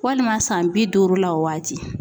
Walima san bi duuru la o waati.